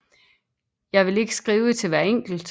Jeg vil ikke skrive til hver enkelt